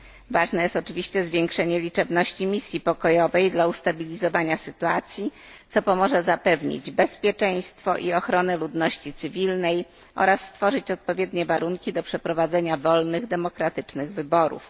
Ważne jest oczywiście zwiększenie liczebności misji pokojowej dla ustabilizowania sytuacji, co pomoże zapewnić bezpieczeństwo i ochronę ludności cywilnej oraz stworzyć odpowiednie warunki do przeprowadzenia wolnych demokratycznych wyborów.